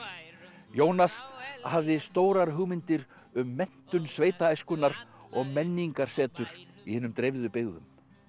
Jónas hafði stórar hugmyndir um menntun og menningarsetur í hinum dreifðu byggðum